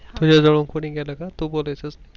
तुझ्या जवळ कोणी गेल का तू बोलायच